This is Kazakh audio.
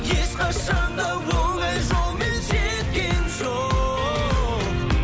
ешқашан да оңай жолмен жеткен жоқ